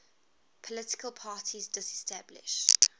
political parties disestablished